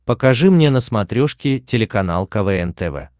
покажи мне на смотрешке телеканал квн тв